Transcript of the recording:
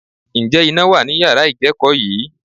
Ǹjẹ́ iná wà ní yàrá ìkẹ́kọ̀ọ́ yìí?